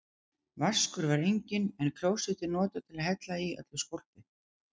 Vaskur var enginn, en klósettið notað til að hella í öllu skólpi.